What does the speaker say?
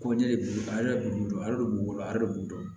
Ko ne de b'u dɔn ale de b'u bolo ale de b'u dɔn